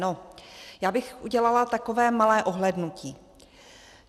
No, já bych udělala takové malé ohlédnutí.